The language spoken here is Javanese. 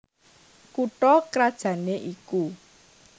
Kutha krajanné iku